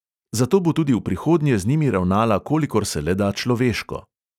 Zato bo tudi v prihodnje z njimi ravnala kolikor se le da človeško.